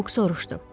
Buk soruşdu.